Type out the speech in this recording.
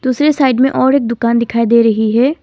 दूसरी साइड में और एक दुकान दिखाई दे रही है।